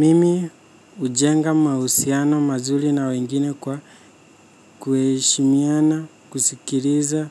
Mimi. Hujenga mahusiano mazuri na wengine kwa. Kuheshimiana, kusikiliza